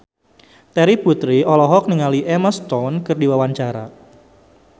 Terry Putri olohok ningali Emma Stone keur diwawancara